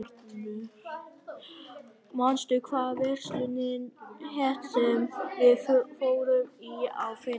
Arthur, manstu hvað verslunin hét sem við fórum í á fimmtudaginn?